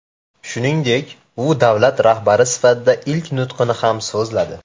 Shuningdek, u davlat rahbari sifatida ilk nutqini ham so‘zladi .